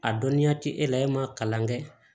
A dɔnniya tɛ e la e ma kalan kɛ